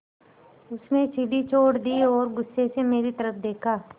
उसने सीढ़ी छोड़ दी और गुस्से से मेरी तरफ़ देखा